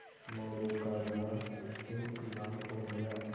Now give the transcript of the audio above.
मोरू का गाल सुर्ख लाल हो गया